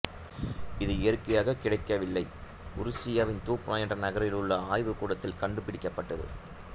இது இயற்கையாகக் கிடைக்கவில்லை உருசியாவின் தூப்னா என்ற நகரில் உள்ள ஆய்வுக்கூடத்தில் கண்டுபிடிக்கப்பட்டது